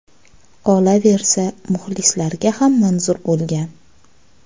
Qolaversa, muxlislarga ham manzur bo‘lgan.